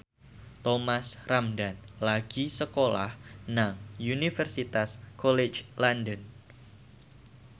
Thomas Ramdhan lagi sekolah nang Universitas College London